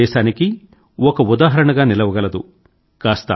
యావత్ దేశానికీ ఒక ఉదాహరణగా నిలవగలదు